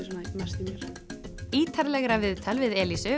mest í mér ítarlegra viðtal við